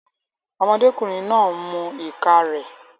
Ọmọdékùnrin náà ń mu ìka rẹ̀